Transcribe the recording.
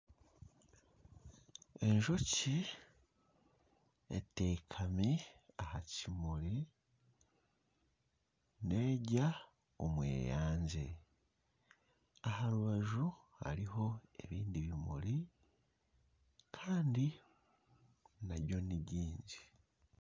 Enjoki eteekami aha kimuri nerya omweyangye aha rubaju hariho ebindi bimuri kandi nabyo nibyingi.